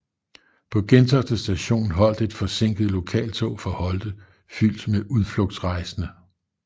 På Gentofte Station holdt et forsinket lokaltog fra Holte fyldt med udflugtsrejsende